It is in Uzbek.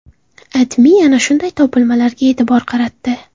AdMe ana shunday topilmalarga e’tibor qaratdi .